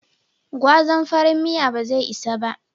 Gwazan farin miyan ba zai isa ba.